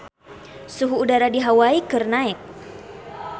Suhu udara di Hawai keur naek